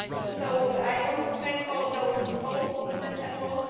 So, I want to thank all of those involved in this effort.